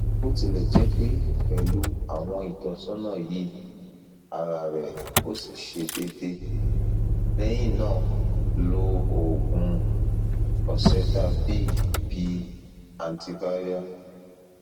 botilejepe pelu awon itosana yi ara re osi se dede lehina lo oogun oseltavir bi antiviral